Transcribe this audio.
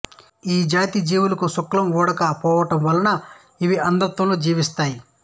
ఈ జాతి జీవులకు శుక్లం ఉండక పోవడం వలన ఇవి అంధత్వంతో జీవిస్తాయి